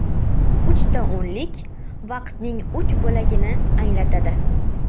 Uchta o‘nlik vaqtning uch bo‘lagini anglatadi.